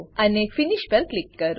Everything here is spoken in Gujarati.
અને ફિનિશ ફીનીશ પર ક્લિક કરો